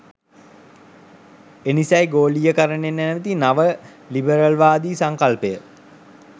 එනිසයි ගෝලීකරණය නැමති නව ලිබරල්වාදි සංකල්පය